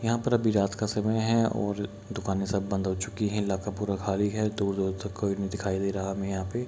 यहाँ पर अभी रात का समय है और दुकाने सब बंद हो चुकी है इलाका पूरा खाली है | दूर दूर तक कोई नहीं दिखाई दे रहा हमे यहाँ पे |